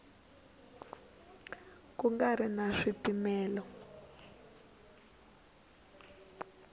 ku nga ri na swipimelo